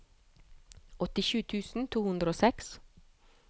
åttisju tusen to hundre og seks